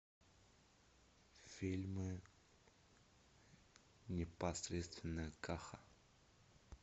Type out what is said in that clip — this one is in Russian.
фильмы непосредственно каха